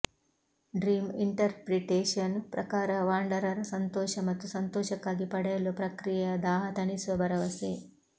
dream interpretation ಪ್ರಕಾರ wanderer ಸಂತೋಷ ಮತ್ತು ಸಂತೋಷಕ್ಕಾಗಿ ಪಡೆಯಲು ಪ್ರಕ್ರಿಯೆಯ ದಾಹ ತಣಿಸುವ ಭರವಸೆ